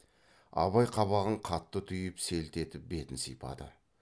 абай қабағын қатты түйіп селт етіп бетін сипады